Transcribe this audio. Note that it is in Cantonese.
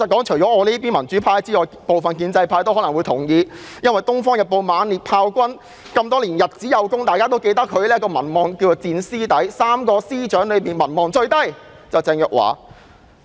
除了民主派外，部分建制派可能也同意這說法，因為《東方日報》也猛烈炮轟，指鄭若驊的民望長期以來屬3名司長之中的最低。